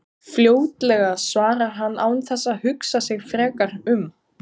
Fljótlega, svarar hann án þess að hugsa sig frekar um.